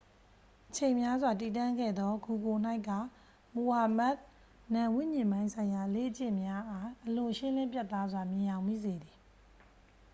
အချိန်များစွာ တည်တံ့ခဲ့သော ဂူကိုယ်၌က မိုဟာမက် နာမ်ဝိဉာဉ်ပိုင်းဆိုင်ရာ အလေ့အကျင့်များအား အလွန်ရှင်းလင်းပြတ်သားစွာ မြင်ယောင်မိစေသည်